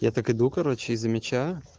я так иду короче и замечаю